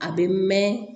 A bɛ mɛn